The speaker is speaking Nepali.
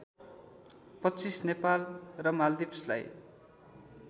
२५ नेपाल र माल्दिभ्सलाई